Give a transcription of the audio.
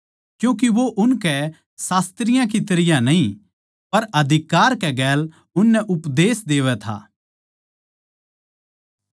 क्यूँके वो उनकै शास्त्रियाँ की तरियां न्ही पर अधिकार कै गेल उननै उपदेश देवै था